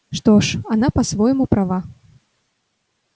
что ж она по-своему права